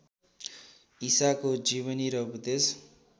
ईसाको जीवनी र उपदेश